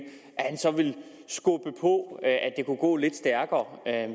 så ville skubbe på for at det kunne gå lidt stærkere